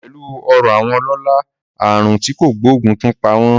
Pẹ̀lú ọrọ̀ àwọn ọlọ́lá, àrùn tí kò gbóògùn tún pa wọ́n